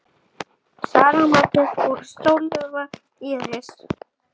Sara Margrét og Sólveig Íris.